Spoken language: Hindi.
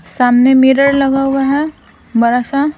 सामने मिरर लगा हुआ है बड़ा सा--